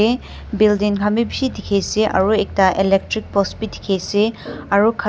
building khan bhi bishih dekhi ase aru ekta electric post bhi dekhi ase aru.